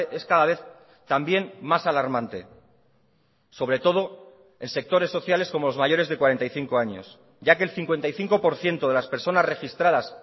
es cada vez también más alarmante sobre todo en sectores sociales como los mayores de cuarenta y cinco años ya que el cincuenta y cinco por ciento de las personas registradas